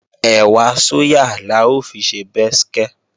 Ẹ̀wà sóyà la ó fi ṣe bẹ́skẹ́